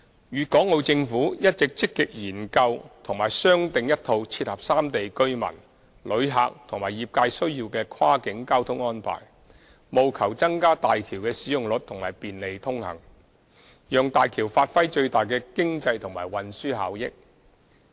粵港澳政府一直積極研究和商訂一套切合三地居民、旅客和業界需要的跨境交通安排，務求增加大橋的使用率及便利通行，讓大橋發揮最大的經濟和運輸效益。